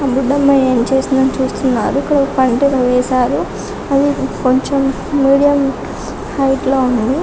ఆ బుడ్డ అమ్మాయి ఏం చేస్తుందా అని చూస్తున్నారు ఇక్కడ పంటలు కూడా వేశారు అవి కొంచెం మీడియం హైట్ లో ఉన్నాయి